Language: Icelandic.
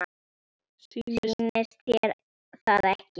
Sýnist þér það ekki?